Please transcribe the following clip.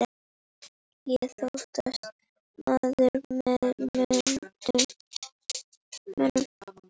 Ég þóttist maður með mönnum.